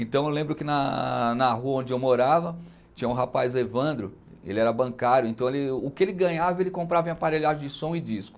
Então eu lembro que na na rua onde eu morava, tinha um rapaz, o Evandro, ele era bancário, então o que ele ganhava ele comprava em aparelhagem de som e disco.